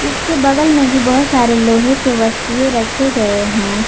इसके बगल में भी बहुत सारे लोहे के वस्तुएँ रखे गए हैं।